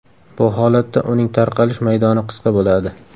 Bu holatda uning tarqalish maydoni qisqa bo‘ladi.